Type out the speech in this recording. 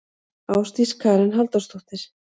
Ásdís Karen Halldórsdóttir.